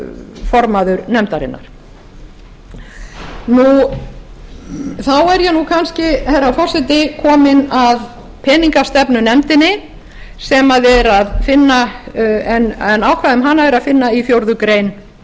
formaður nefndarinnar þá er ég kannski herra forseti kominn að peningastefnunefndinni en ákvæði um hana er að finna í fjórða grein